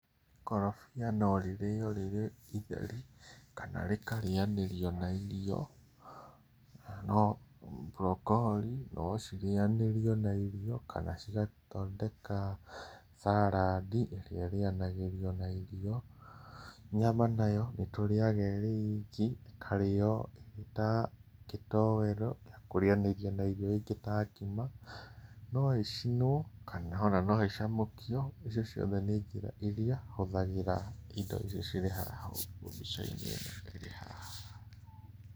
Ikorobia no rĩrĩo rĩrĩ itheri kana rĩkarĩanĩrio na irio, na no brocolli nocirĩanĩrio na irio, kana cigathondeka saladi, ĩrĩa ĩrĩanagĩrio na irio. Nyama nayo nĩtũrĩaga ĩrĩ iki, ĩkarĩo ĩta gĩtoero gĩa kũrĩanĩria na irio ingĩ ta ngima. No ĩcinwo kana ona no ĩcamũkio, icio ciothe nĩ njĩra iria hũthagĩra indo icio cirĩ haha ũguo mbica-inĩ ĩno ĩrĩ haha.